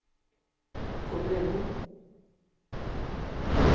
kommunen